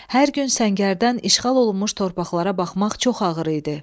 Hər gün səngərdən işğal olunmuş torpaqlara baxmaq çox ağır idi.